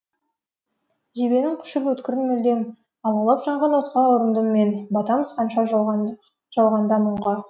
жебенің құшып өткірін мүлдем алаулап жанған отқа ұрындым мен батамыз қанша жалғанда мұңға